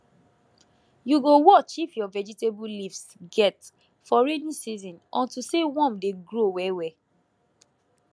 you go watch if your vegetable leaves get for rainy season unto say worm dey grow well well